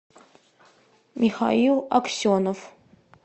михаил аксенов